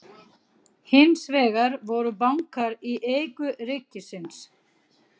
Hins vegar voru bankar í eigu ríkisins.